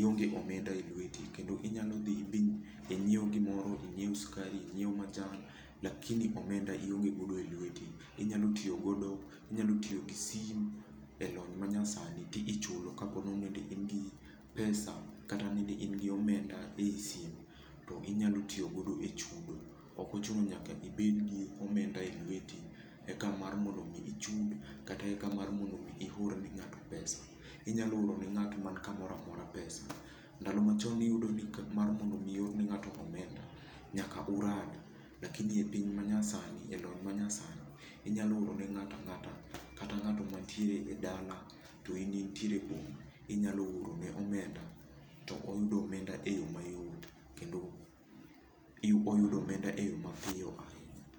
ionge omenda e lweti, kendo inyalo dhi piny, inyiew gimoro, inyiew skari, inyiew majan, lakini omenda ionge godo e lweti. Inyalo tiyo godo, inyalo tiyo gi sim e lony manyasani to ichulo kapo ni yande in gi pesa kata ni ne in gi omenda ei sim, to inyalo tiyo godo e chudo. Ok ochuno nyaka ibed gi omenda e lweti eka mar mondo mi ichud, kata e ka mar mondo mi ior ne ng'ato pesa. Inyalo oro ne ng'at man kamoro amora pesa. Ndalo machon iyudo ni mar mondo mi ior ne ng'ato omenda, nyaka urad. Lakini e piny manyasani, e lony manyasani, inyalo oro ne ng'at ang'at kata ng'ato mantie edala to in intere e boma inyalo oro ne omenda to oyudo omenda e yo mayot kendo oyudo omenda e yo mapiyo ahinya.